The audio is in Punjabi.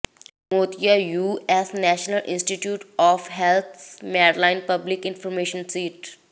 ਮੋਤੀਆ U S national institute of health Medline public information sheet